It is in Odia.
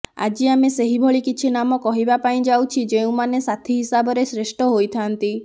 ଆଜି ଆମେ ସେହିଭଳି କିଛି ନାମ କହିବାପାଇଁ ଯାଉଛି ଯେଉଁମାନେ ସାଥି ହିସାବରେ ଶ୍ରେଷ୍ଠ ହୋଇଥାନ୍ତି